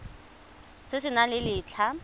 se se nang le letlha